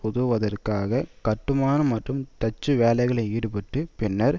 உதவுவதற்காக கட்டுமான மற்றும் தச்சு வேலைகளில் ஈடுபட்டு பின்னர்